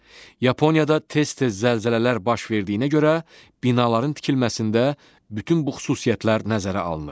Yaponiyada tez-tez zəlzələlər baş verdiyinə görə binaların tikilməsində bütün bu xüsusiyyətlər nəzərə alınır.